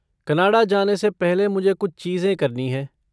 Canada जाना से पहले मुझे कुछ चीजें करनी हैं।